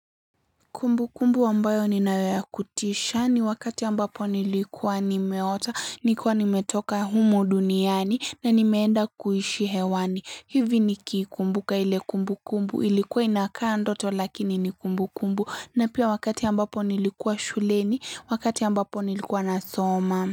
Kumbukumbu ambayo ninayo ya kutisha ni wakati ambapo nilikuwa nimeota, nilikuwa nimetoka humu duniani na nimeenda kuishi hewani. Hivi nikiikumbuka ile kumbukumbu ilikuwa inakaa ndoto lakini ni kumbukumbu na pia wakati ambapo nilikuwa shuleni, wakati ambapo nilikuwa nasoma.